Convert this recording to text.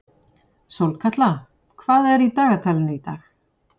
Sólkatla, hvað er í dagatalinu í dag?